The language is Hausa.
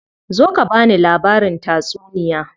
Zo ka bani labarin tatsuniya.